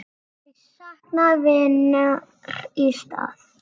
Þau sakna vinar í stað.